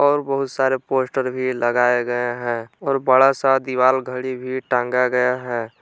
और बहुत सारा पोस्टर भी लगाया गया है और बड़ासा दीवाल घड़ी भी टांगा गया है।